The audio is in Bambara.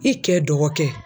I cɛ dɔgɔkɛ.